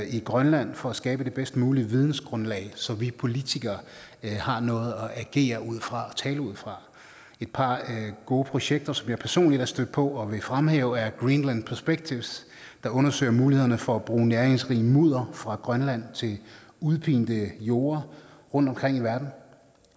i grønland for at skabe det bedst mulige vidensgrundlag så vi politikere har noget at agere ud fra og tale ud fra et par gode projekter som jeg personligt er stødt på og vil fremhæve er greenland perspective der undersøger mulighederne for at bruge næringsrigt mudder fra grønland til udpinte jorde rundtomkring i verden